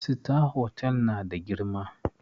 Sitar hotal na da girma